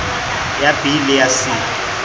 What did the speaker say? ya b le ya c